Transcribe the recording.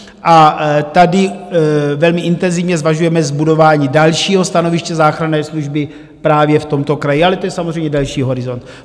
A tady velmi intenzivně zvažujeme zbudování dalšího stanoviště záchranné služby právě v tomto kraji, ale to je samozřejmě další horizont.